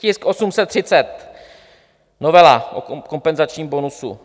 Tisk 830, novela o kompenzačním bonusu.